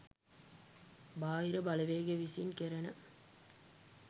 බාහිර බලවේග විසින් කැරෙන